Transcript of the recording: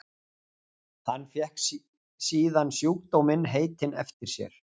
Hann fékk síðan sjúkdóminn heitinn eftir sér.